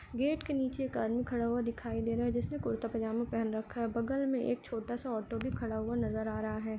Gate के नीचे एक आदमी खड़ा हुआ दिखाई दे रहा है जिसने कुर्ता पजामा पहन रखा है बगल में छोटा सा ऑटो भी खड़ा हुआ नजर आ रहा है।